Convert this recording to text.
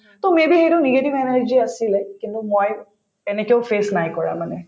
to may be সেইটো negative energy য়ে আছিলে কিন্তু মই তেনেকেও face নাই কৰা মানে